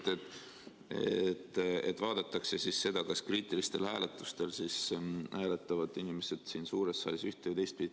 Te ütlesite, et vaadatakse seda, kas kriitilistel hääletustel hääletavad inimesed siin suures saalis üht- või teistpidi.